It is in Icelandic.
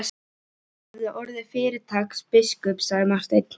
Þú hefðir orðið fyrirtaks biskup, sagði Marteinn.